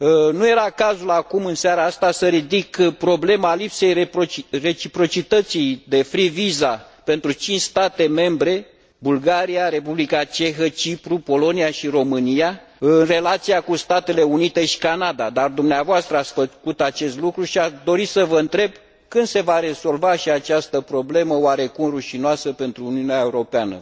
Nu era cazul acum, în seara asta, să ridic problema lipsei reciprocității de free visa pentru cinci state membre Bulgaria, Republica Cehă, Cipru, Polonia și România în relația cu Statele Unite și Canada, dar dumneavoastră ați făcut acest lucru și aș dori să vă întreb când se va rezolva și această problemă oarecum rușinoasă pentru Uniunea Europeană.